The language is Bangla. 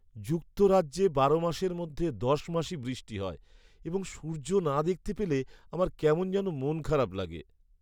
যুক্তরাজ্যে বারো মাসের মধ্যে দশ মাসই বৃষ্টি হয় এবং সূর্য না দেখতে পেলে আমার কেমন যেন মন খারাপ লাগে।